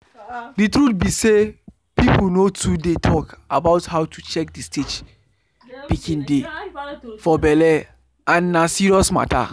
the truth be say people nor too dey talk about how to check the stage pikin dey for belle and na serious matter.